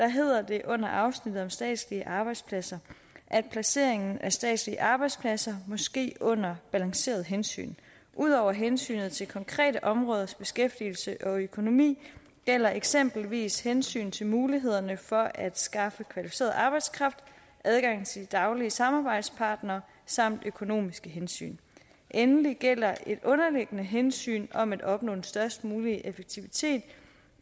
hedder det under afsnittet om statslige arbejdspladser at placeringen af statslige arbejdspladser må ske under balanceret hensyn udover hensynet til konkrete områders beskæftigelse og økonomi gælder eksempelvis hensyn til mulighederne for at skaffe kvalificeret arbejdskraft adgang til de daglige samarbejdspartnere samt økonomiske hensyn endelig gælder et underliggende hensyn om at opnå den størst mulige effektivitet